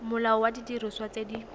molao wa didiriswa tse di